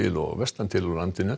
og vestan til á landinu